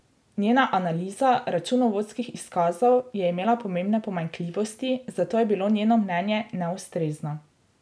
Njena analiza računovodskih izkazov je imela pomembne pomanjkljivosti, zato je bilo njeno mnenje neustrezno.